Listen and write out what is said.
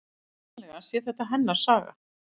Vitanlega sé þetta hennar saga.